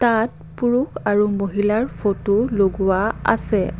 তাত পুৰুষ আৰু মহিলাৰ ফটো লগোৱা আছে।